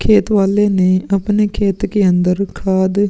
खेत वाल्ले ने अपने खेत के अंदर खाद --